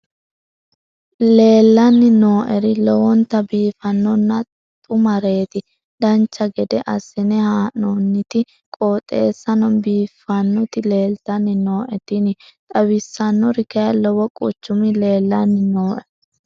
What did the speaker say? leellanni nooeri lowonta biiffinonna xumareeti dancha gede assine haa'noonniti qooxeessano biiffinoti leeltanni nooe tini xawissannori kayi lowo quchumi leellanni nooe